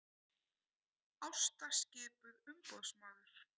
Ásta skipuð umboðsmaður